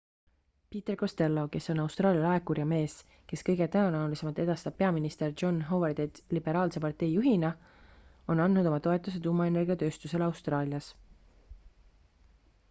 peter costello kes on austraalia laekur ja mees kes kõige tõenäolisemalt edastab peaminister john howardit liberaalse partei juhina on andnud oma toetuse tuumaenergiatööstusele austraalias